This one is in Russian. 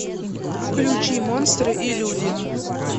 включи монстры и люди